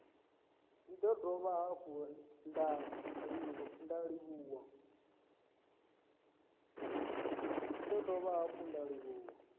ndi dovha hafhu nda livhuwa